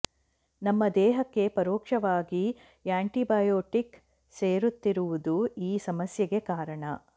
ನಮ್ಮ ದೇಹಕ್ಕೆ ಪರೋಕ್ಷವಾಗಿ ಆ್ಯಂಟಿಬಯೊಟಿಕ್ ಸೇರುತ್ತಿರುವುದೇ ಈ ಸಮಸ್ಯೆಗೆ ಕಾರಣ